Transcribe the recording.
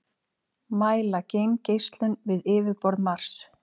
mæla geimgeislun við yfirborð mars